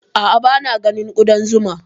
A'a, ba na ganin Ƙuɗan zuman